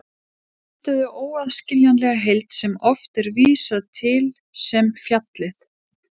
Þau mynduðu óaðskiljanlega heild sem oft er vísað til sem fjallið.